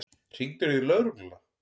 Hringdirðu í lögregluna?